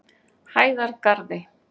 Hæðargarði